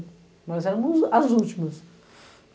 Nós éramos as últimas.